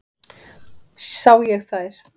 Sá ég þær.